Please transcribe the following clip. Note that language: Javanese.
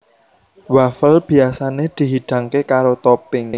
Wafel biyasané dihidangké karo topping